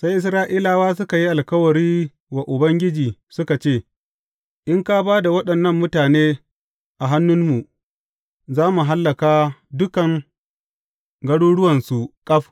Sai Isra’ila suka yi alkawari wa Ubangiji suka ce, In ka ba da waɗannan mutane a hannunmu, za mu hallaka dukan garuruwansu ƙaf.